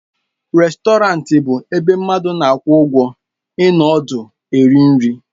Rèstọrantị bụ ebe mmadụ na-akwụ ụgwọ ịnọ ọdụ eri nri.